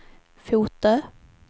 Fotö